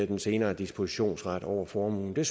den senere dispositionsret over formuen det